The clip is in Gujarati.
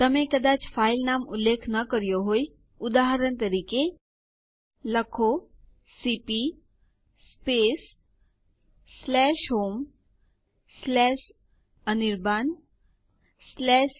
નોંધ લો કે આપણને યુઝર ડક માટે નવો પાસવર્ડ પૂછવામાં આવે છે